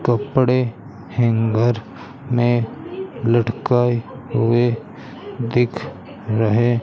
कपड़े हैंगर में लटकाए हुए दिख रहे--